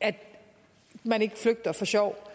at man ikke flygter for sjov